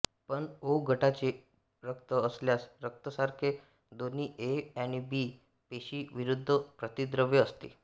पण ओ गटाचे रक्त असल्यास रक्तरसामध्ये दोन्ही ए आणि बी पेशी विरुद्ध प्रतिद्रव्य असते